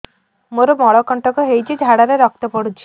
ମୋରୋ ମଳକଣ୍ଟକ ହେଇଚି ଝାଡ଼ାରେ ରକ୍ତ ପଡୁଛି